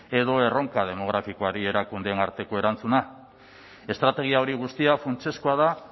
edo erronka demografikoari erakundeen arteko erantzuna estrategia hori guztia funtsezkoa da